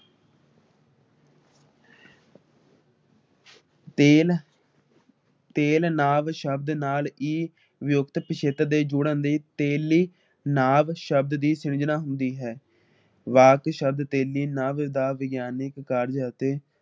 ਤੇਲ ਤੇਲ ਨਾਂਵ ਸ਼ਬਦ ਨਾਲ ਈ ਜੁਕਤ ਪਿਛੇਤਰ ਦੇ ਜੁੜਣ ਦੇ ਤੇਲੀ ਨਾਂਵ ਸ਼ਬਦ ਦੀ ਵਾਕ ਸ਼ਬਦ ਤੇਲੀ ਨਵ ਦਾ ਵਿਗਿਆਨਿਕ ਕਾਰਜ ਅਤੇ